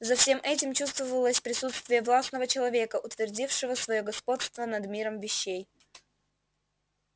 за всем этим чувствовалось присутствие властного человека утвердившего своё господство над миром вещей